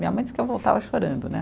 Minha mãe diz que eu voltava chorando, né.